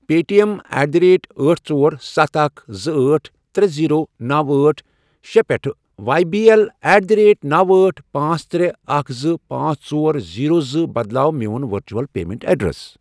Pay T M at the rate أٹھ، ژور، ستھَ، اکھَ، زٕ، أٹھ، ترے، زیٖرو، نوَ، أٹھ، شے، پٮ۪ٹھٕ Y B L at the rate نوَ، أٹھ، پانژھ، ترے، اکھَ، زٕ، پانژھ، ژور، زیٖرو، زٕ، بدلاو میون ورچول پیمنٹ ایڈریس۔